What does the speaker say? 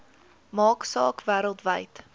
maak saak wêreldwyd